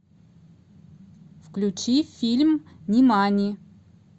включи фильм нимани